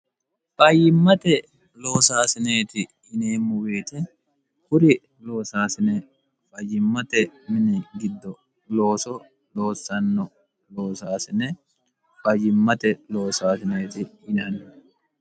fayyimmate loosaasineeti yineemmo woyete kuri loosaasine fayyimmate mini giddo looso loossanno loosaasine fayimmate loosaasineeti yinanni.